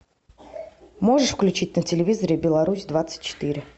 можешь включить на телевизоре беларусь двадцать четыре